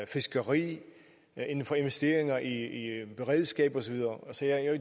fiskeri inden for investeringer i beredskab og så videre